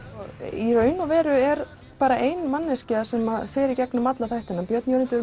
í raun og veru er bara ein manneskja sem fer í gegnum alla þættina björn Jörundur